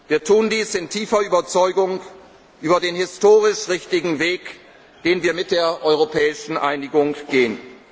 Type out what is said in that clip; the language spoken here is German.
erwerben. Wir tun dies in tiefer Überzeugung über den historisch richtigen Weg, den wir mit der europäischen Einigung